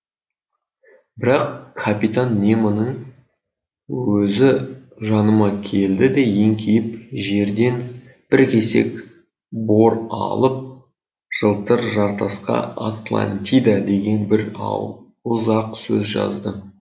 бірақ капитан немоның өзі жаныма келді де еңкейіп жерден бір кесек бор алып жылтыр жартасқа атлантида деген бір ауыз ақ сөз жазды